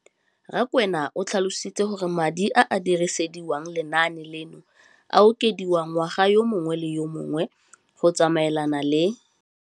Rakwena o tlhalositse gore madi a a dirisediwang lenaane leno a okediwa ngwaga yo mongwe le yo mongwe go tsamaelana le